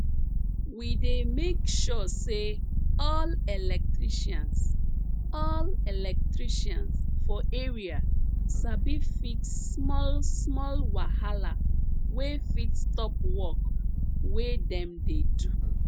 we dey make sure say all electricians all electricians for area sabi fix smallsmall wahala wey fit stop work wey dem dey do